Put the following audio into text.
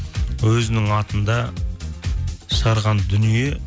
өзінің атында шығарған дүние